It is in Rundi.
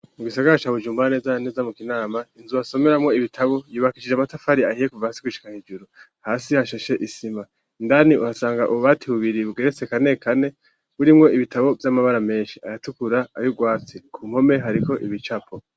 Mu gisagara ca Bujumbura neza neza mu Kinama inzuba basomeramo ibitabo yubakishije amatafari ahiye kuva hasi gushika hejuru. Hasi hashashe isima indani uhasanga ububati bubiri bugeretse kane kane burimwo ibitabo vy'amabara menshi aratukura ayugwatsi ku mpome hariko ibicapo.